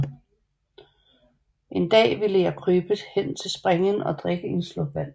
En Dag vilde jeg krybe hen til Springen og drikke en Slurk Vand